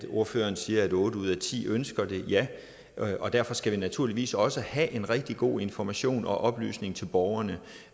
ordføreren siger at otte ud af ti ønsker det er ja og derfor skal vi naturligvis også have en rigtig god information og oplysning til borgerne